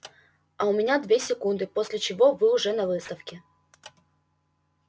а у меня две секунды после чего вы уже на выставке